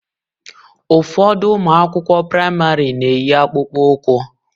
Ụfọdụ ụmụ akwụkwọ praịmarị na-eyi akpụkpọ ụkwụ